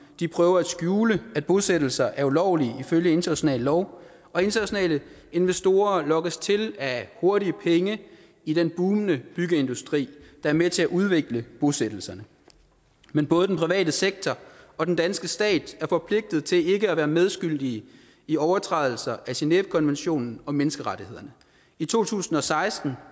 de prøver at skjule at bosættelser er ulovlige følge international lov og internationale investorer lokkes til af hurtige penge i den bugnende byggeindustri der er med til at udvikle bosættelserne men både den private sektor og den danske stat er forpligtede til ikke at være medskyldige i overtrædelser af genèvekonventionen og menneskerettighederne i to tusind og seksten